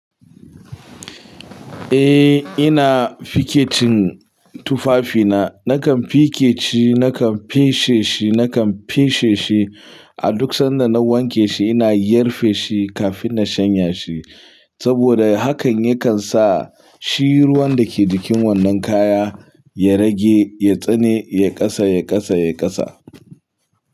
Eh ina fikecin tufafina. Nakan fikeci, nakan feshe shi, nakan feshe shi. A duk sanda na wanke shi ina yarfe shi kafin na shanya shi. Saboda hakan yakan sa shi ruwan da ke cikin wannan kaya ya rage, ya tsane, yai kasa, yai kasa, yai kasa.